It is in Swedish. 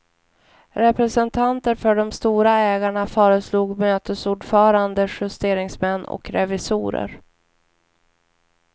Representanter för de stora ägarna föreslog mötesordförande justeringsmän och revisorer.